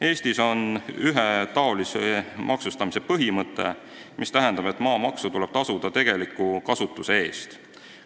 Eestis kehtib ühetaolise maksustamise põhimõte, mis tähendab, et maamaksu tuleb tasuda tegeliku kasutuse eest.